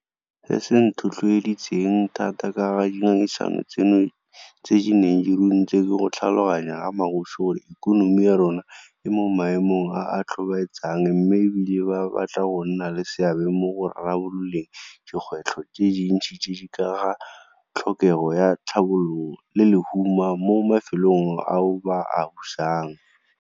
Se se nthotlhoeditseng thata ka ga dingangisano tseno tse di neng di runtse ke go tlhaloganya ga magosi gore ikonomi ya rona e mo maemong a a tlhobaetsang mme e bile ba batla go nna le seabe mo go rarabololeng dikgwetlho tse dintsi tse di ka ga tlhokego ya tlhabollo le lehuma mo mafelong ao ba a busang.